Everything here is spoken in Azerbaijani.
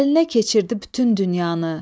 Əlinə keçirdi bütün dünyanı.